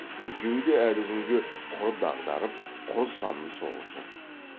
екеуі де әлі күнге құр дағдарып құр санын соғып жүр